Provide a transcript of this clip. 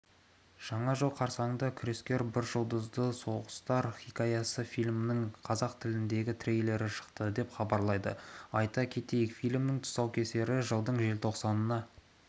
жаңа жыл қарсаңында күрескер бір жұлдызды соғыстар хикаясы фильмінің қазақ тіліндегі трейлері шықты деп хабарлайды айта кетейік фильмнің тұсаукесері жылдың желтоқсанына